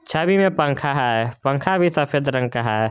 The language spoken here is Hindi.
छवि में पंखा है पंखा भी सफेद रंग का है।